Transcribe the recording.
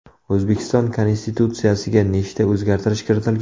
O‘zbekiston konstitutsiyasiga nechta o‘zgartirish kiritilgan?